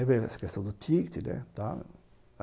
Aí veio essa questão do ticket, né, tá?